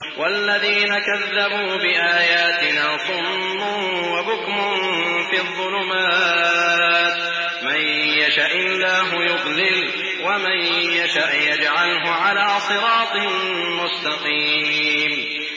وَالَّذِينَ كَذَّبُوا بِآيَاتِنَا صُمٌّ وَبُكْمٌ فِي الظُّلُمَاتِ ۗ مَن يَشَإِ اللَّهُ يُضْلِلْهُ وَمَن يَشَأْ يَجْعَلْهُ عَلَىٰ صِرَاطٍ مُّسْتَقِيمٍ